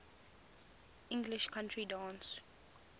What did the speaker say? english country dance